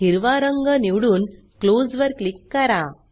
हिरवा रंग निवडून क्लोज वर क्लिक करा